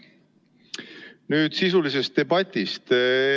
Nüüd sisulisest debatist.